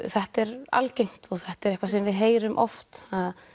þetta er algengt og þetta er eitthvað sem við heyrum oft